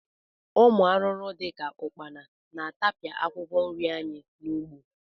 Ụmụ arụrụ dị ka ụkpana na-atapịa akwụkwọ nri anyị n'ugbo